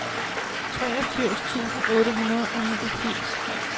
treogfirs tusind otte hundrede og niogfirs